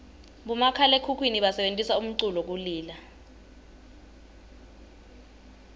bomakhalaekhukhwini basebentisa umculu kulila